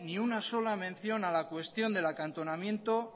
ni una sola mención a la cuestión del acantonamiento